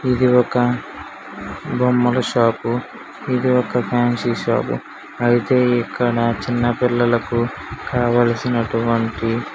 ఇది ఒక బొమ్మల షాప్ పు ఇదొక ఫ్యాన్సీ షాప్ పు అయితే ఇక్కడ చిన్న పిల్లలకు కావలసినటువంటి --